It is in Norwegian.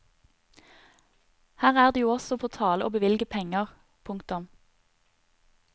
Her er det jo også på tale å bevilge penger. punktum